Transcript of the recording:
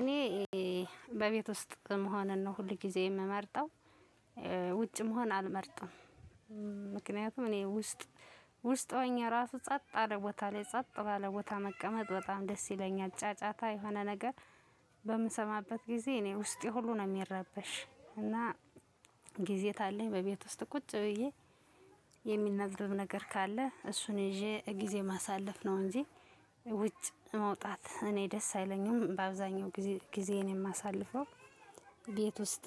እኔ በቤት ውስጥ መሆንን ነው ሁል ጊዜ የምመርጠው ውጭ መሆን አልመርጥም ምክንያቱም እኔ ውስጥ ውስጥ ሆኜ ራሱ ጸጥ አለ ቦታ ላይ ጸጥ ባለ ቦታ መቀመጥ በጣም ደስ ይለኛል። ጫጫታ የሆነ ነገር በምሰማበት ጊዜ እኔ ውስጤ ሁሉ ነው የሚረበሽ። እና ጊዜ ታለኝ በቤት ውስጥ ቁጭ ብዬ የሚነበብ ነገር ካለ እሱን ይዜ ጊዜ ማሳለፍ ነው እንጂ ውጪ መውጣት እኔ ደስ አይለኝም። በአብዛኛው ጊዜ ጊዜየን የማሳልፈው ቤት ውስጥ።